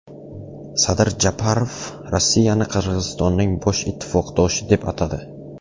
Sadir Japarov Rossiyani Qirg‘izistonning bosh ittifoqdoshi deb atadi.